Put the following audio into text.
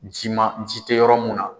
jima ji tɛ yɔrɔ mun na.